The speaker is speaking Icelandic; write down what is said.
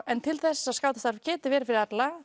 en til þess að starfið geti verið fyrir alla